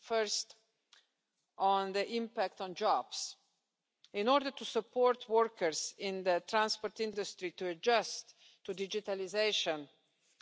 First, on the impact on jobs in order to support workers in the transport industry in adjusting to digitalisation